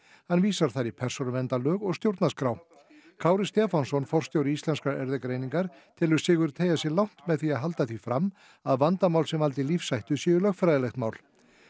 hann vísar þar í persónuverndarlög og stjórnarskrá Kári Stefánsson forstjóri Íslenskrar erfðagreiningar telur Sigurð teygja sig langt með því að halda því fram að vandamál sem valdi lífshættu séu lögfræðilegt mál